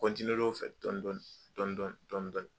Kɔntine l'o fɛ dɔni dɔni dɔni.